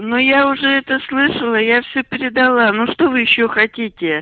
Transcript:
но я уже это слышала я все передала ну что вы ещё хотите